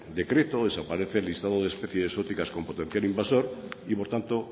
decreto desaparece el listado de especies exóticas como potencial invasor y por tanto